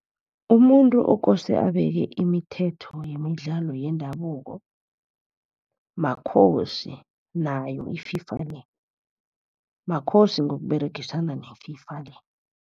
Umuntu okose abeke imithetho yemidlalo yendabuko, makhosi nayo i-FIFA le. Makhosi ngokUberegisana ne-FIFA le.